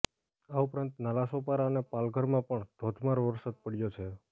આ ઉપરાંત નાલાસોપારા અને પાલઘરમાં પણ ધોધમાર વરસાદ પડ્યો છે